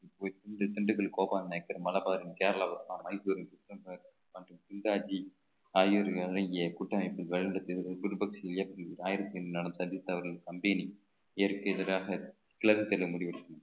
திண்~ திண்டுக்கல் கோபால நாயக்கர் மலைபாதம் கேரளாவிற்கு மைசூர் ஆகியோர்கள் அடங்கிய கூட்டமைப்பு சந்தித்தவர்கள் company இதற்கு எதிராக கிழக்கு முடிவு எடுக்கணும்